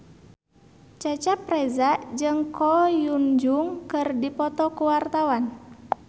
Cecep Reza jeung Ko Hyun Jung keur dipoto ku wartawan